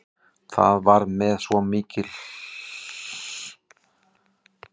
Þetta varð með svo miklu hraði að enginn fékk rönd við reist.